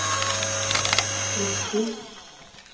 riktig